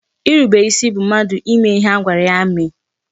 Irube isi bụ mmadụ ime ihe a gwara ya mee